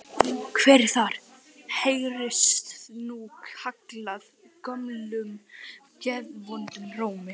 Hver er þar? heyrðist nú kallað gömlum geðvondum rómi.